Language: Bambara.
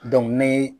ne